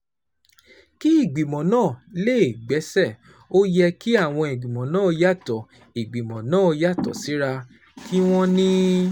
Kí ìgbìmọ̀ náà lè gbéṣẹ́, ó yẹ kí àwọn ìgbìmọ̀ náà yàtọ̀ ìgbìmọ̀ náà yàtọ̀ síra, kí wọ́n ní